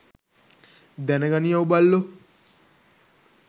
දැනගනියව් බල්ලො